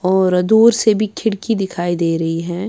.اور دور سے بھی کھڑکی دکھائی دے رہی ہیں